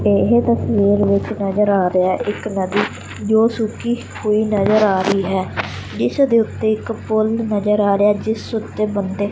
ਇਹ ਤਸਵੀਰ ਵਿੱਚ ਨਜ਼ਰ ਆ ਰਿਹਾ ਇੱਕ ਨਦੀ ਜੋ ਸੁੱਕੀ ਹੁਈ ਨਜ਼ਰ ਆ ਰਹੀ ਹੈ ਜਿਸ ਦੇ ਉੱਤੇ ਇੱਕ ਪੁਲ ਨਜ਼ਰ ਆ ਰਿਹਾ ਜਿਸ ਉੱਤੇ ਬੰਦੇ--